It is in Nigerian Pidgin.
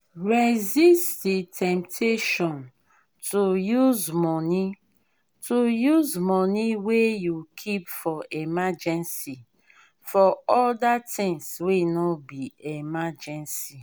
resist di temptation to use money to use money wey you keep for emergency for oda things wey no be emergency